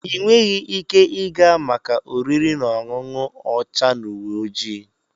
Ị nweghị ike ịga maka oriri na ọṅụṅụ ọcha na uwe ojii.